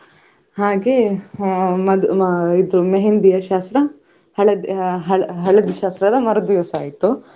ಹಾಗೆ ಅಹ್ ಅಹ್ ಮದು मेहंदी ಯಾ ಶಾಸ್ತ್ರ ಹಳದಿ ಹಳದಿ ಹಳದಿಯ ಶಾಸ್ತ್ರ ಮರುದಿವ್ಸ ಆಯ್ತು.